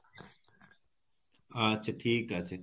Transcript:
আচ্ছা ঠিক আছে